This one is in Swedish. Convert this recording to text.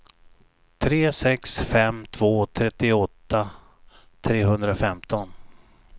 tre sex fem två trettioåtta trehundrafemton